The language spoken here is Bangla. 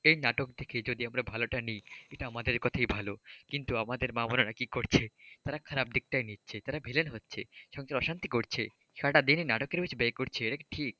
সেই নাটক থেকে যদি আমরা ভালোটা নিই সেটা আমদের কথাই ভালো কিন্তু আমাদের মা বোনের কি করছে তারা খারাপ দিকটাই নিচ্ছে, তার ভিলেন হচ্ছে, সংসারে অশান্তি করছে, সারাটাদিন নাটকের পিছনে ব্যয় করছে এটা কি ঠিক?